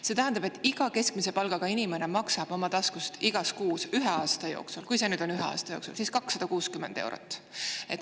See tähendab, et iga keskmise palgaga inimene maksab oma taskust igas kuus ühe aasta jooksul – kui see nüüd ikka on ühe aasta jooksul – 260 eurot.